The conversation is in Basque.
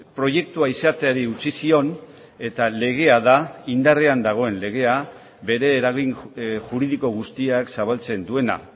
proiektua izateari utzi zion eta legea da indarrean dagoen legea bere eragin juridiko guztiak zabaltzen duena